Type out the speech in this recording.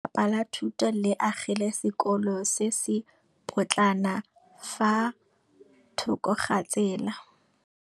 Lefapha la Thuto le agile sekôlô se se pôtlana fa thoko ga tsela.